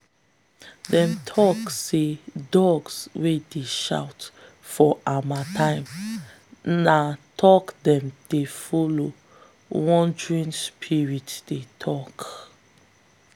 them tok say dogs wey dey shout for harmattan na talk them dey follow wandering spirits dey tok. um